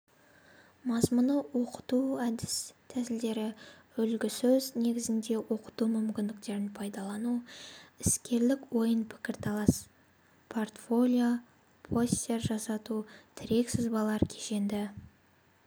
мазмұны оқыту әдіс-тәсілдері үлгісөз негізінде оқыту мүмкіндіктерін пайдалану іскерлік ойын пікірталас портфолио постер жасату тірек-сызбалар кешенді